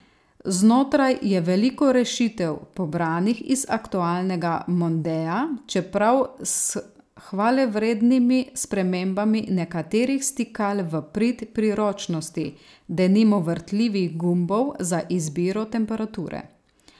Znotraj je veliko rešitev pobranih iz aktualnega mondea, čeprav s hvalevrednimi spremembami nekaterih stikal v prid priročnosti, denimo vrtljivih gumbov za izbiro temperature.